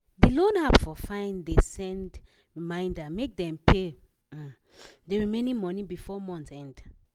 d loan app for fine de send reminder make dem pay um the remaining money before month end